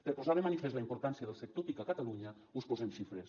per posar de manifest la importància del sector tic a catalunya us posem xifres